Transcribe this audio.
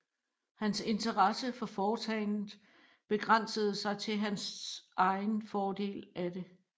Hans interesse for foretagendet begrænsede sig til hans egen fordel af det